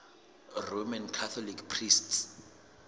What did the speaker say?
roman catholic priests